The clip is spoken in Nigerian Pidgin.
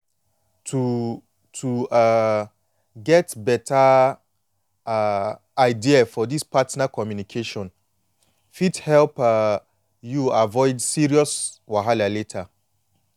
to to um get better um idea for this partner communication fit help um you avoid serious wahala later